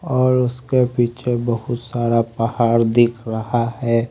और उसके पीछे बहुत सारा पहाड़ दिख रहा है--